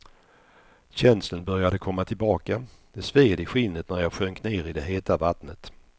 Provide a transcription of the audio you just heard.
Känseln började komma tillbaka, det sved i skinnet när jag sjönk ner i det heta vattnet.